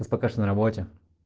у нас пока что на работе